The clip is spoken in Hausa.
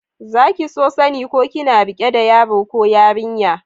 Za ki so sani ko kina rike da yaro ko yarinya?